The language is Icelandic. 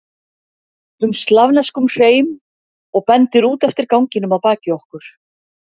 um slavneskum hreim og bendir út eftir ganginum að baki okkur.